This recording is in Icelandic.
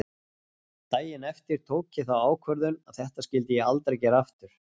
Daginn eftir tók ég þá ákvörðun að þetta skyldi ég aldrei gera aftur.